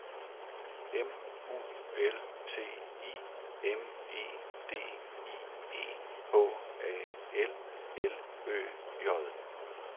M U L T I M E D I E H A L L Ø J